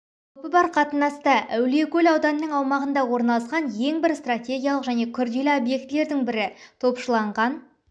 қаупі бар қатынаста әулиекөл ауданының аумағында орналасқан ең бір стратегиялық және күрделі объектілердің бірі топшыланған